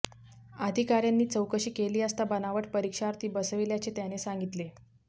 अधिकाऱ्यांनी चौकशी केली असता बनावट परीक्षार्थी बसविल्याचे त्याने सांगितले